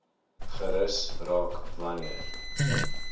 gerus raak wanneer